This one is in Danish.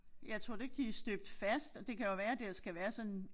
Ja tror du ikke de støbt fast og det kan jo være der skal være sådan